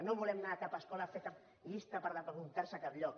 no volem anar a cap escola a fer cap llista per apuntar se a cap lloc